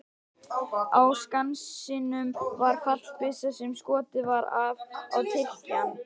Á Skansinum var fallbyssa sem skotið var af á Tyrkjann.